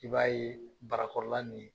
I b'a ye barakɔrɔla nin